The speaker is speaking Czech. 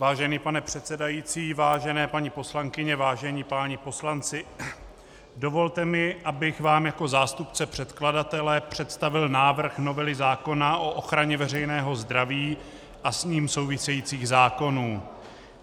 Vážený pane předsedající, vážené paní poslankyně, vážení páni poslanci, dovolte mi, abych vám jako zástupce předkladatele představil návrh novely zákona o ochraně veřejného zdraví a s ním související zákony.